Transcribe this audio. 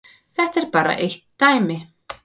Þetta er bara eitt dæmi.